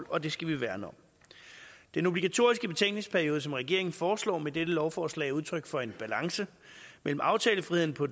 og det skal vi værne om den obligatoriske betænkningsperiode som regeringen foreslår med dette lovforslag er udtryk for en balance mellem aftalefriheden på